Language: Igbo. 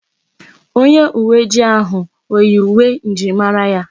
Onye uwe ojii ahụ oyi uwe njirimara ya?